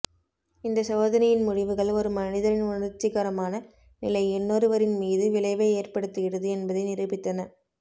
இந்த சோதனையின் முடிவுகள் ஒரு மனிதரின் உணர்ச்சிகரமான நிலை இன்னொருவரின் மீது விளைவை ஏற்படுத்துகிறது என்பதை நிரூபித்தன